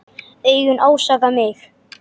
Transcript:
Augun ásaka mig.